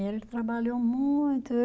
Ele trabalhou muito.